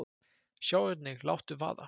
Sjá einnig: Láttu vaða!